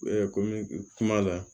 kɔmi kuma la